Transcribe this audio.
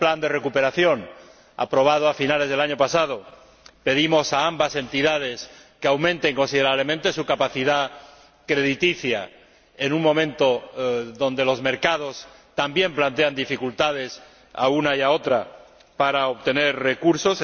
En el plan de recuperación, aprobado a finales del año pasado, pedimos a ambas entidades que aumentaran considerablemente su capacidad crediticia en un momento en que los mercados también plantean dificultades a una y a otra para obtener recursos.